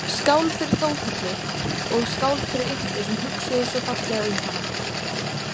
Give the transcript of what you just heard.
Skál fyrir Þórhöllu og skál fyrir ykkur sem hugsuðuð svo fallega um hana